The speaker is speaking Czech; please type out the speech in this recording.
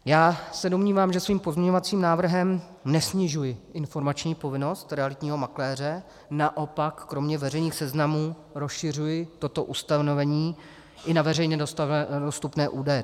Já se domnívám, že svým pozměňovacím návrhem nesnižuji informační povinnost realitního makléře, naopak, kromě veřejných seznamů rozšiřuji toto ustanovení i na veřejně dostupné údaje.